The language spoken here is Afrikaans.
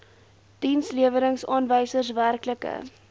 dienslewerings aanwysers werklike